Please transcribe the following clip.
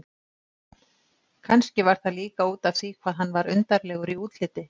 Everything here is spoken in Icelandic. Kannski var það líka útaf því hvað hann var undarlegur í útliti.